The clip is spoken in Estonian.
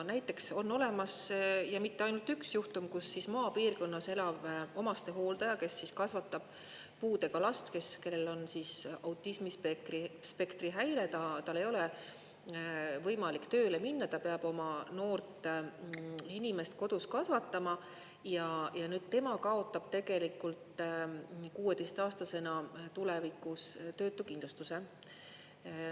Näiteks on olemas, ja mitte ainult üks juhtum, kus maapiirkonnas elav omastehooldaja, kes kasvatab puudega last, kellel on autismispektri häire, tal ei ole võimalik tööle minna, ta peab oma noort inimest kodus kasvatama, ja tema kaotab tegelikult 16-aastasena tulevikus töötukindlustuse.